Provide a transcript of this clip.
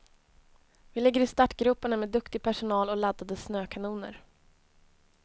Vi ligger i startgroparna med med duktig personal och laddade snökanoner.